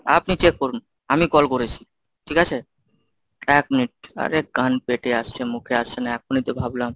আপনি check করুন, আমি call করেছি, ঠিক আছে? এক minute আরে কান পেটে আসছে মুখে আসছে না। এখনই তো ভাবলাম।